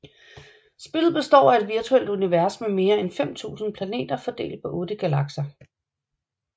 Spillet består af et virtuelt univers med mere end 5000 planeter fordelt på 8 galakser